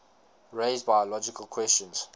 raise biological questions